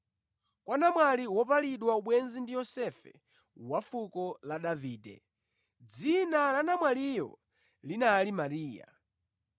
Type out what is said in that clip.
kwa namwali wopalidwa ubwenzi ndi Yosefe, wa fuko la Davide. Dzina la namwaliyo linali Mariya.